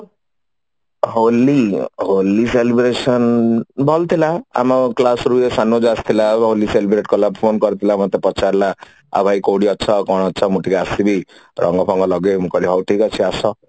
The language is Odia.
ହୋଲି ହୋଲି celebration ଭଲ ଥିଲା ଆମ class ରୁ ଏଇ ଶନୁଜା ଆସିଥିଲା ହୋଲି celebrate କଲା phone କରିଥିଲା ମତେ ପଚାରିଲା ଆଉ ଭାଇ କୋଉଠି ଅଛ ଆଉ କଣ ଅଛ ମୁଁ ଟିକେ ଆସିବି ତ ଆମ କାମରେ ହଉ ଠିକ ଅଛି ଆସ